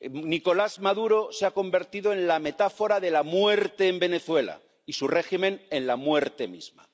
Nicolás Maduro se ha convertido en la metáfora de la muerte en Venezuela y su régimen en la muerte misma.